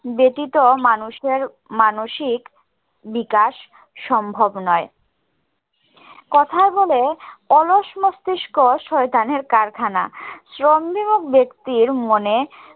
ব্যতিত মানুষের মানসিক বিকাশ সম্ভব নয়। কথায় বলে অলস মস্তিষ্ক শয়তানের কারখানা। শ্রমবিমুখ ব্যক্তির মনে